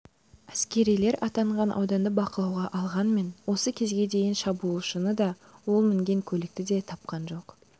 әскерилер аталған ауданды бақылауға алғанымен осы кезге дейін шабуылшыны да ол мінген көлікті де тапқан жоқ